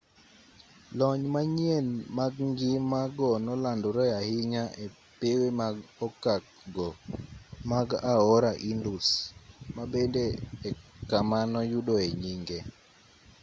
lony manyien mag ngima go nolandore ahinya e pewe mag okak go mag aora indus ma bende e kama noyudoe nyinge